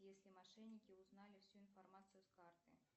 если мошенники узнали всю информацию с карты